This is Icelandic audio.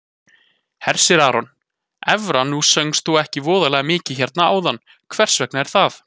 Hersir Aron: Evra nú söngst þú ekkert voðalega mikið hérna áðan, hvers vegna er það?